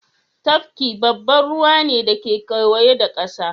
Tafki babban ruwa ne da ke kewaye da kasa